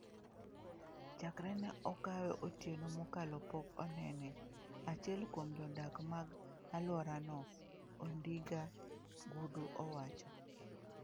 "Chakre ne okawe otieno mokalo pok onene", achiel kuom jodak mag aluora no, Odinga Nguduu, owacho.